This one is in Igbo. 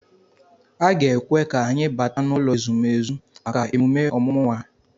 A ga-ekwe ka anyị bata n'ụlọ ezumezu maka emume ọmụmụ nwa ya